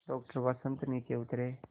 doctor Vasant नीचे उतरे